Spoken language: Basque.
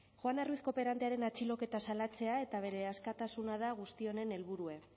juana ruiz kooperantearen atxiloketa salatzea eta bere askatasuna da guzti honen helburue